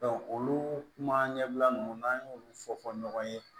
olu kuma ɲɛbila nunnu n'an y'olu fɔ fɔ ɲɔgɔn ye